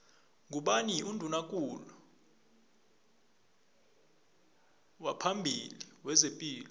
ngubani unduna kulu waphambili wezepilo